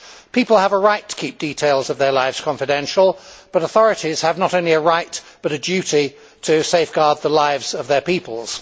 People have a right to keep details of their lives confidential, but authorities have not only a right, but a duty, to safeguard the lives of their peoples.